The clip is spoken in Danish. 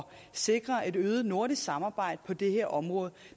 sikre et øget nordisk samarbejde på det her område